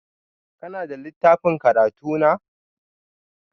Kuna da littafin karatu na?